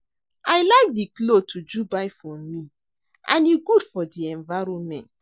I like the cloth Uju buy for me and e good for the environment